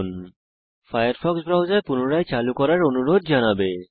আপনার Firefox browser পুনরায় চালু করার অনুরোধ জানানো হবে